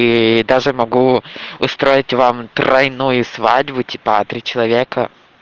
ээ даже могу устроить вам тройную свадьбу типа три человека